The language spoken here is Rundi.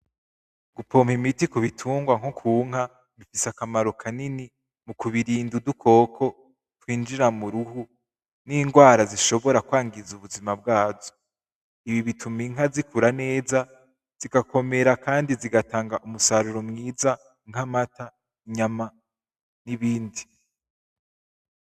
Gupoma imiti ku bitungwa nko ku nka, bifise akamaro kanini mu kubirinda udukoko twinjira mu ruhu; n'ingwara zishobora kwangiza ubuzima bwazo, ibi bituma inka zikura neza zigakomera kandi zigatanga umusaruro mwiza nk'amata; inyama; n'ibindi.